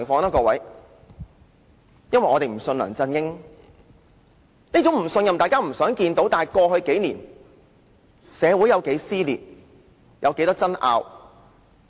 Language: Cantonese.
因為我們不相信梁振英，雖然大家都不想看到這種不信任，但過去幾年，社會有多少撕裂、多少爭拗？